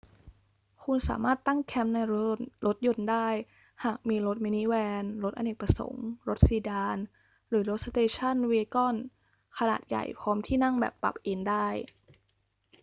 คุณสามารถตั้งแคมป์ในรถยนต์ได้หากมีรถมินิแวน รถอเนกประสงค์ รถซีดาน หรือรถสเตชันแวกอนขนาดใหญ่พร้อมที่นั่งแบบปรับเอนได้